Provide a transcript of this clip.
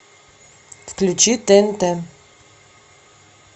включи тнт